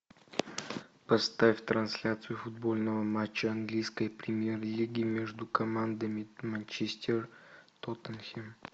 поставь трансляцию футбольного матча английской премьер лиги между командами манчестер тоттенхэм